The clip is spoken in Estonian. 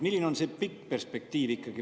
Milline on ikkagi see pikk perspektiiv?